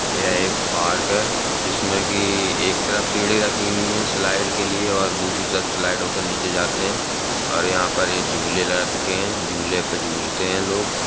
यह एक पार्क है जिसमें कि एक तरफ सीढ़ी रखी हुई है स्लाइड के लिए और दूसरी तरफ स्लाइड होकर नीचे जाते हैं और यहाॅं पर एक झूले रखे हैं। झूले पर झूलते हैं लोग।